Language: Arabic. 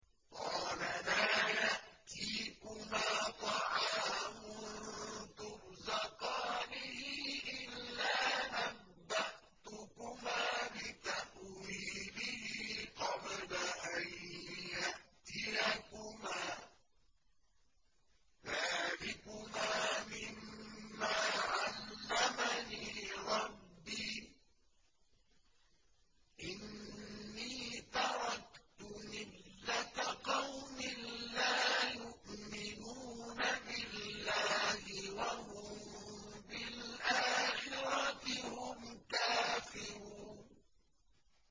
قَالَ لَا يَأْتِيكُمَا طَعَامٌ تُرْزَقَانِهِ إِلَّا نَبَّأْتُكُمَا بِتَأْوِيلِهِ قَبْلَ أَن يَأْتِيَكُمَا ۚ ذَٰلِكُمَا مِمَّا عَلَّمَنِي رَبِّي ۚ إِنِّي تَرَكْتُ مِلَّةَ قَوْمٍ لَّا يُؤْمِنُونَ بِاللَّهِ وَهُم بِالْآخِرَةِ هُمْ كَافِرُونَ